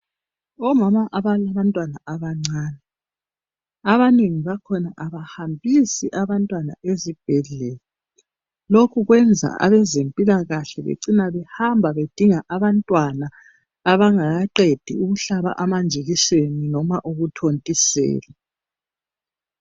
Omama abalabantwana abancane. Abanengi bakhona abahambisi abahtwana ezibhedlela. Lokhu kwenza abezempilakahle, becina behamba bedinga abantwana, abangakaqedi ukuhlaba amanjekiseni, loba ukuthontiselwa.